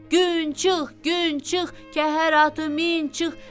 Gün çıx, gün çıx, kəhər atı min çıx,